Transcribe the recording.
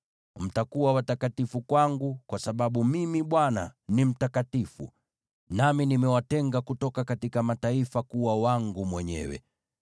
Mtakuwa watakatifu kwangu, kwa sababu Mimi, Bwana , ni mtakatifu, nami nimewatenga kutoka mataifa kuwa wangu mwenyewe.